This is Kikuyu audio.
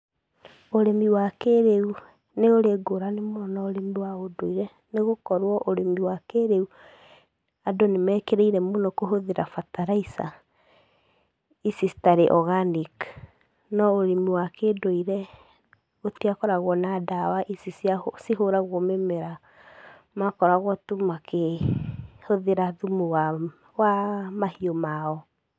Ũrĩmi wa kĩrĩu nĩ ũrĩ ngũrani mũno na ũrĩmi wa ũndũire nĩ gũkorwo ũrĩmi wa kĩrĩu, andũ nĩ mekĩrĩire mũno kũhũthĩra bataraica, ici citarĩ organic, no ũrĩmi wa kĩndũire, gũtiakoragwo na ndawa ici cia cihũragwo mĩmera, maakoragwo tu makĩhũthĩra thumu wa wa mahiũ mao.